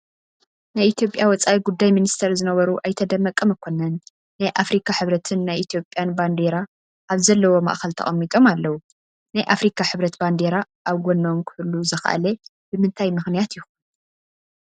ናይ ኢትዮጵያ ወፃኢ ጉዳይ ሚኒስትር ዝነበሩ ኣይተ ደመቀ መኮነን ናይ ኣፍሪካ ሕብረትን ናይ ኢትዮጵያን ባንዲራ ኣብ ዘለዎ ማእኸል ተቐሚጦም ኣለዉ፡፡ ናይ ኣፍሪካ ሕብረት ባንዴራ ኣብ ጐኖም ክህሉ ዝኸኣለ ብምንታይ ምኽንያት ይኾን?